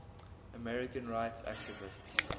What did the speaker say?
americans rights activists